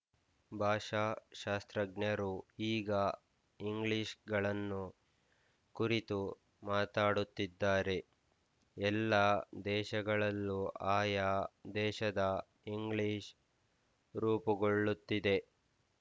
ಭಾಷಾಶಾಸ್ತ್ರಜ್ಞರು ಈಗ ಇಂಗ್ಲಿಷ್ ಗಳನ್ನು ಕುರಿತು ಮಾತಾಡುತ್ತಿದ್ದಾರೆ ಎಲ್ಲ ದೇಶಗಳಲ್ಲೂ ಆಯಾ ದೇಶದ ಇಂಗ್ಲಿಶ್ ರೂಪುಗೊಳ್ಳುತ್ತಿದೆ